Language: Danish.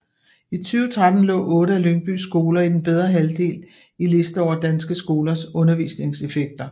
I 2013 lå otte af Lyngbys skoler i den bedre halvdel i liste over danske skolers undervisningseffekter